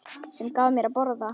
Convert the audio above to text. Sem gaf mér að borða.